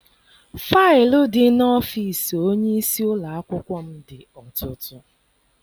Faịlụ di n'ọfịịsi onyeisi ụlọakwụkwọ m dị ọtụtụ.